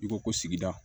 I ko ko sigida